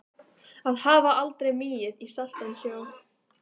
Að hafa aldrei migið í saltan sjó